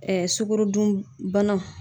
sukorodun banaw